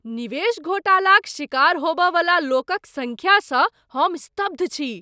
निवेश घोटालाक शिकार होब वाला लोक क सँख्या सँ हम स्तब्ध छी।